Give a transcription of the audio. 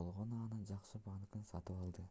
болгону анын жакшы банкын сатып алды